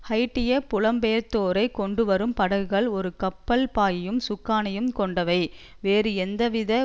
ஹைய்ட்டிய புலம்பெயர்ந்தோரை கொண்டுவரும் படகுகள் ஒரு கப்பல் பாயையும் சுக்கானையும் கொண்டவை வேறு எந்தவித